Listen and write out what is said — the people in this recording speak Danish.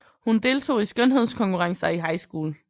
Hun deltog i skønhedskonkurrencer i high school